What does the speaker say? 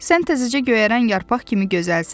Sən təzəcə göyərən yarpaq kimi gözəlsən.